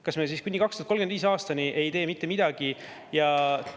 Kas me siis kuni 2035. aastani ei tee mitte midagi ja …